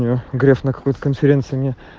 грех на какую-то конференцию не